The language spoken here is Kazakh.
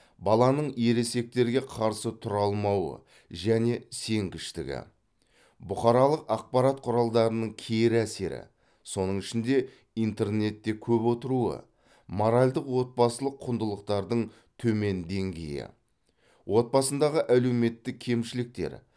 баланың ересектерге қарсы тұра алмауы және сенгіштігі бұқаралық ақпарат құралдарының кері әсері соның ішінде интернетте көп отыруы моральдық отбасылық құндылықтардың төмен деңгейі отбасындағы әлеуметтік кемшіліктер